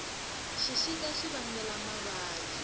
xixika xi vangela mavabyi